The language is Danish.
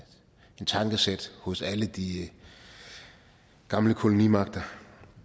tankesæt hos alle de gamle kolonimagter